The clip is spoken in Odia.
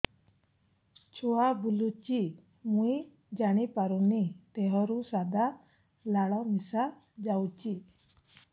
ଛୁଆ ବୁଲୁଚି ମୁଇ ଜାଣିପାରୁନି ଦେହରୁ ସାଧା ଲାଳ ମିଶା ଯାଉଚି